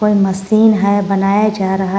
एक मशीन है बनाया जा रहा--